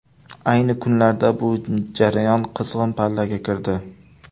Ayni kunlarda bu jarayon qizg‘in pallaga kirdi.